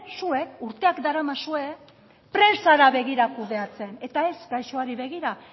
zuek urteak daramazue presara begira kudeatzen eta ez gaixoari begira